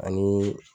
Ani